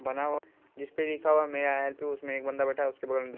बना हुआ जिस पे लिखा हुआ है में आई हेल्प यू उसमें एक बन्दा बैठा है। उसके बगल में --